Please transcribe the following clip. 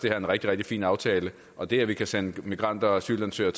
er en rigtig rigtig fin aftale og det at vi kan sende migranter og asylansøgere